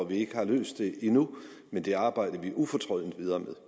vi ikke har løst det endnu men det arbejder vi ufortrødent videre med